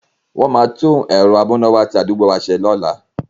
Wọ́n máa tún ẹ̀rọ amúnáwá ti àdúgbò wa se ní ọ̀la.